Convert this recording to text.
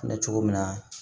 Bɛ cogo min na